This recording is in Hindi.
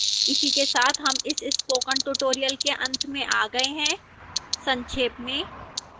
इसी के साथ हम इस स्पोकन tutorial के अंत में आ गए हैं संक्षेप में